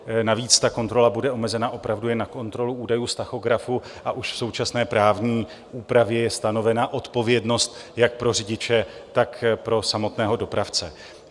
Navíc ta kontrola bude omezena opravdu jen na kontrolu údajů z tachografu a už v současné právní úpravě je stanovena odpovědnost jak pro řidiče, tak pro samotného dopravce.